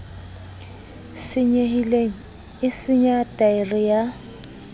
senyehileng e senya thaere ya